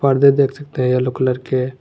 पर्दे देख सकते है एलो कलर के।